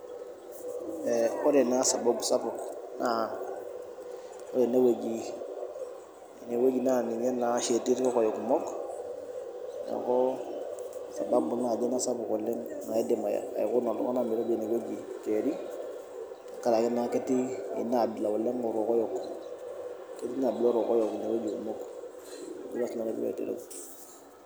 Eh ore naa sababu naa, ore ene wueji, ene wueji naa ninye naa oshi etii irkokoyo kumok . Neaku sababu naaji ina sapuk oleng naidim aikuna iltunganak metejo ine weuji Njeri tenkaraki naa ketii inabila sapuk orkokoyo. Ketii ina aji orkokoyo kumok ajo naa sinanu piilo aitereu.